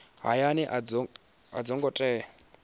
hayani a dzo ngo tea